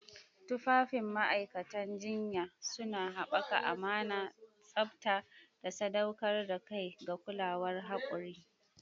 Tufafin ma'aikatan jinya suna haɓaka amana, tsabta, da sadaukar da kai ga kulawar haƙuri.